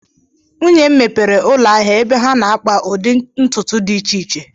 Nwunye m mepere ụlọ ahịa ebe ha na-akpa ụdị ntụtụ dị iche iche